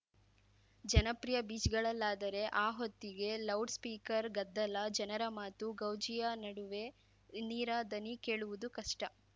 ಜನಪ್ರಿಯ ಬೀಚ್‌ಗಳಲ್ಲಾದರೆ ಆ ಹೊತ್ತಿಗೆ ಲೌಡ್‌ ಸ್ಪೀಕರ್‌ ಗದ್ದಲ ಜನರ ಮಾತು ಗೌಜಿಯ ನಡುವೆ ನೀರ ದನಿ ಕೇಳುವುದು ಕಷ್ಟ